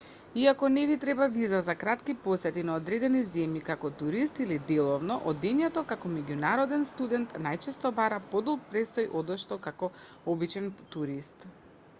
иако не ви треба виза за кратки посети на одредени земји како турист или деловно одењето како меѓународен студент најчесто бара подолг престој одошто како обичен турист